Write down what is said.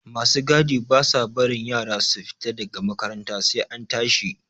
Ma su gadi ba sa barin yara su fita da ga makaranta sai an tashi.